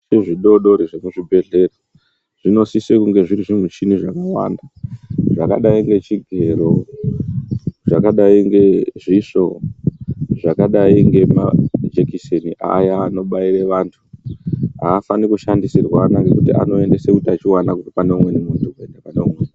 Zviro zvidodori zvemuzvibhehleya zvinosise kunge zviri zvimichini zvakawanda zvakadai ngechigero ,zvakadai ngezvisvo, zvakadai ngemajekiseni aya anobaire antu haafaniri kushandisirwana ngekuti anoendese utachiwana kubve paneumweni munhu kuenda paneumweni.